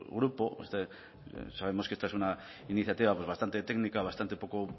grupo sabemos que esta es una iniciativa bastante técnica bastante poco